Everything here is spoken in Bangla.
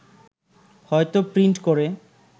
হয়তো প্রিন্ট করে